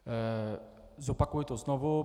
Zopakuji to znovu.